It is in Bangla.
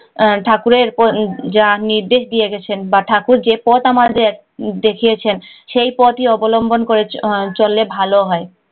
ঠাকুরের জা নির্দেশ দিয়ে দিছেন বা ঠাকুর যে পথ আমাদের দেখিয়েছেন সেই পথ ই অবলম্বন করেছে হলে ভালো হয়